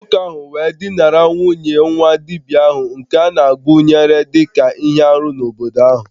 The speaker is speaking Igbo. Nwoke ahu we dinara nwunye nwa-dibia ahu nke anāguru dika ihe-árú n'ala ahu